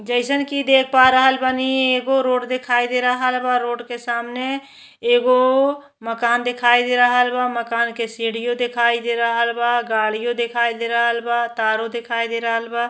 जैसन की देख पा रहल बानी। एगो रोड दिखाई दे रहल बा। रोड के सामने एगो मकान दिखाई दे रहल बा। मकान के सीढ़ीयो दिखाई दे रहल बा। गाड़ियों दिखाई दे रहल बा। तारो दिखाई दे रहल बा।